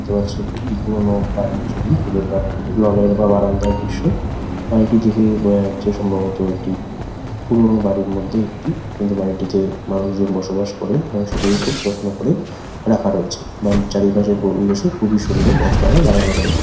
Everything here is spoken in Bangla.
দেখতে পাচ্ছেন একটি পুরোনো বাড়ির ছবি ভেতরকার লনের বা বারান্দার দৃশ্য। বাড়িটি দেখে বোঝা যাচ্ছে সম্ভব্এ‌টি পুরোনো বাড়ির মধ্যে একটি কিন্তু বাড়িটিতে মানুষজন বসবাস করে এবং সেটিকে খুব যত্ন করে রাখা রয়েছে বাড়ির চারিপাশের পরিবেশও খুবই সুন্দর গাছপালা লাগানো রয়েছে।